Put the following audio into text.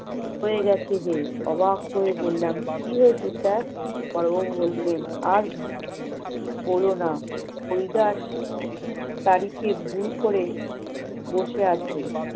অবাক হয়ে বললাম, কি হয়েছে sir? বড়বাবু বললেন আর বলোনা, হরিদাস তারিখে ভুল করে বসে আছে